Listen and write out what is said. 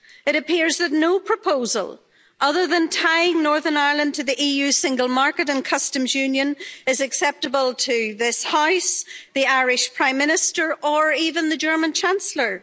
It appears that no proposal other than tying Northern Ireland to the EU's single market and Customs Union is acceptable to this House, the Irish Prime Minister or even the German Chancellor.